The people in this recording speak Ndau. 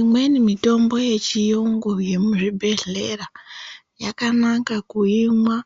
Imweni mitombo yechiyungu yemuzvibhedhlera yakanaka kuimwa